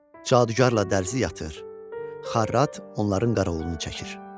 Cadugarla dərzi yatır, xarrat onların qaraolunu çəkir.